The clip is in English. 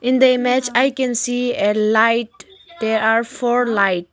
In the image I can see a light they are four light.